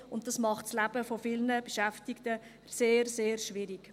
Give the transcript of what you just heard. Dies macht das Leben vieler Beschäftigten sehr, sehr schwierig.